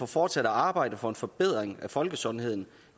fortsat at arbejde for en forbedring af folkesundheden